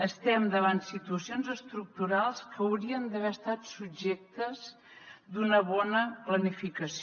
estem davant situacions estructurals que haurien d’haver estat subjectes a una bona planificació